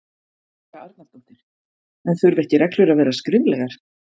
Helga Arnardóttir: En þurfa ekki reglur að vera skriflegar?